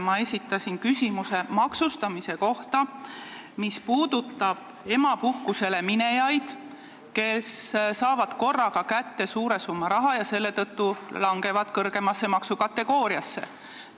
Ma esitasin küsimuse maksustamise kohta, mis puudutab emapuhkusele minejaid, kes saavad korraga kätte suure summa raha ja selle tõttu langevad kõrgemasse maksukategooriasse.